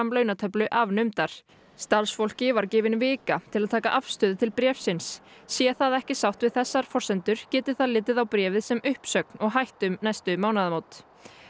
launatöflu afnumdar starfsfólki var gefin vika til að taka afstöðu til bréfsins sé það ekki sátt við þessar forsendur geti það litið á bréfið sem uppsögn og hætt um næstu mánaðamót